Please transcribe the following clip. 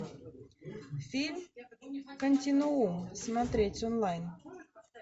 фильм континуум смотреть онлайн